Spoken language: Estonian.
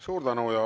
Suur tänu!